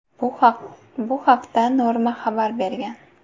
Bu haqda Norma xabar bergan .